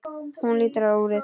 Hún lítur á úrið.